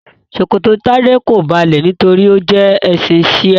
Ṣòkòtò Tade ko balẹ nítorí o jẹ ẹsin shia.